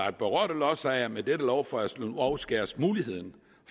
at berørte lodsejere med dette lovforslag afskæres muligheden